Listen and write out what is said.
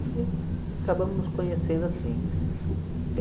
E acabamos nos conhecendo assim.